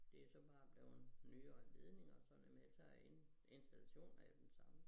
Det så bare blevet nyere ledninger og sådan noget men ellers så er in installationen er jo den samme